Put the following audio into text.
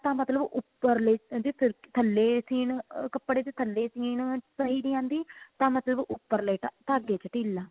ਮਤਲਬ ਉਪਰਲੇ ਜੇ ਫਿਰਕੀ ਥੱਲੇ ਸੀਨ ਕੱਪੜੇ ਦੇ ਥੱਲੇ ਸੀਨ ਸਹੀ ਨਹੀਂ ਆਂਦੀ ਤਾਂ ਮਤਲਬ ਉਪਰਲੇ ਧਾਗੇ ਚ ਢਿੱਲ